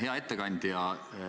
Hea ettekandja!